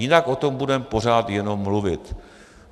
Jinak o tom budeme pořád jenom mluvit.